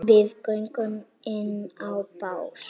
Við göngum inn á bás